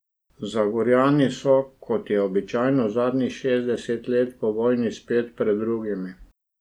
Zagorjani so, kot je običaj zadnjih šestdeset let po vojni, spet pred drugimi.